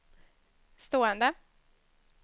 stående